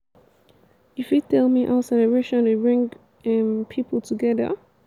you fit tell me how celeration dey bring um pipo togeda